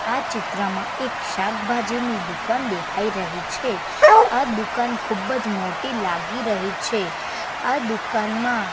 આ ચિત્રમાં એક શાકભાજીની દુકાન દેખાય રહી છે આ દુકાન ખુબજ મોટી લાગી રહી છે આ દુકાનમાં--